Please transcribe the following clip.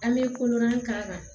An bɛ kolonnan k'a kan